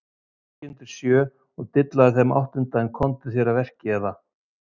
Sittu ekki undir sjö og dillaðu þeim áttunda en komdu þér að verki eða: